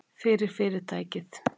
Fyrir- tækið, Friðrik.